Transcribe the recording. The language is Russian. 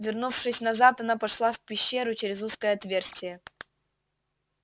вернувшись назад она пошла в пещеру через узкое отверстие